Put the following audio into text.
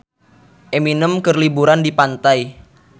Eminem keur liburan di pantai